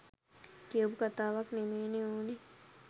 කියපු කතාවක් නෙමේනේ ඕන.